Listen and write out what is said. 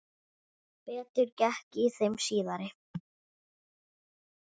Betur gekk í þeim síðari.